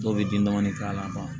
Dɔw bɛ bin dɔɔnin k'a la